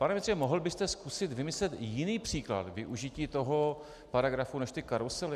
Pane ministře, mohl byste zkusit vymyslet jiný příklad využití toho paragrafu než ty karusely?